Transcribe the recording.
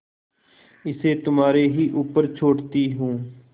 इसे तुम्हारे ही ऊपर छोड़ती हूँ